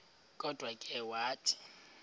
kodwa ke wathi